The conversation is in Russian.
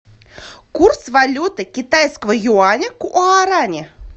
курс валюты китайского юаня к гуарани